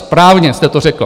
Správně jste to řekl.